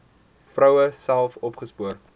vroue self opgespoor